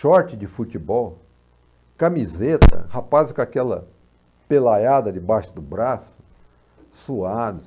short de futebol, camiseta, rapazes com aquela pelaiada debaixo do braço, suados.